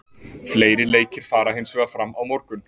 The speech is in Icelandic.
Fleiri leikir fara hinsvegar fram á morgun.